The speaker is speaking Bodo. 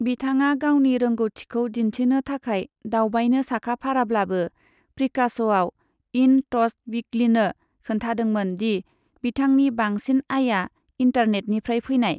बिथाङा गावनि रोंग'थिखौ दिन्थिनो थाखाय दावबायनो साखाफाराब्लाबो, प्रिकास'आ इन टच विकलिनो खोन्थादोंमोन दि बिथांनि बांसिन आयआ इन्टारनेटनिफ्राय फैनाय।